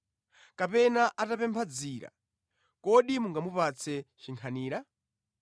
Kapena atapempha dzira, kodi mungamupatse chinkhanira?